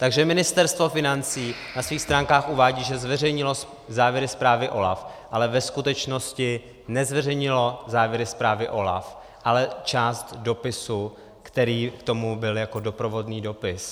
Takže Ministerstvo financí na svých stránkách uvádí, že zveřejnilo závěry zprávy OLAF, ale ve skutečnosti nezveřejnilo závěry zprávy OLAF, ale část dopisu, který k tomu byl jako doprovodný dopis.